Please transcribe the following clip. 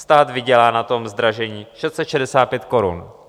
Stát vydělá na tom zdražení 665 korun.